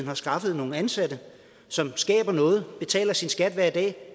har skaffet nogle ansatte og som skaber noget betaler sin skat hver dag og